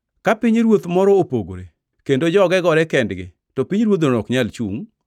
Ka pinyruoth moro opogore kendo joge gore kendgi to pinyruodhno ok nyal chungʼ.